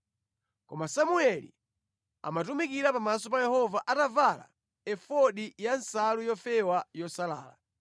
Koma Samueli amatumikira pamaso pa Yehova atavala efodi ya nsalu yofewa yosalala.